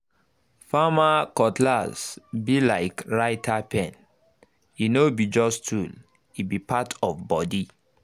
farmer cutlass um be like um writer pen—e no be just tool e um be part of body